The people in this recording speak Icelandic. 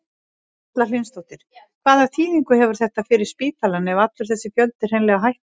Erla Hlynsdóttir: Hvaða þýðingu hefur þetta fyrir spítalann ef allur þessi fjöldi hreinlega hættir?